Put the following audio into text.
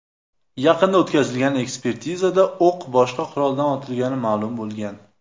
Yaqinda o‘tkazilgan ekspertizada o‘q boshqa quroldan otilgani ma’lum bo‘lgan.